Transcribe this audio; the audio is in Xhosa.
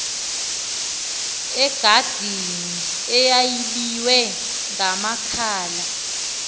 egadini eyayibiywe ngamakhala